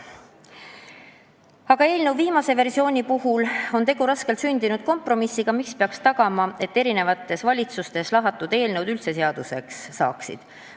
Aga eelnõu viimane versioon on raskelt sündinud kompromiss, mis peaks tagama, et eri valitsustes lahatud eelnõud üldse seaduseks saaksid.